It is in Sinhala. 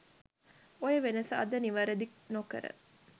ඔය වෙනස අද නිවරදි නොකර